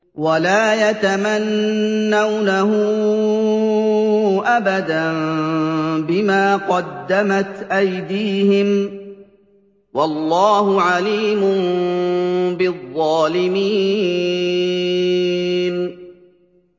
وَلَا يَتَمَنَّوْنَهُ أَبَدًا بِمَا قَدَّمَتْ أَيْدِيهِمْ ۚ وَاللَّهُ عَلِيمٌ بِالظَّالِمِينَ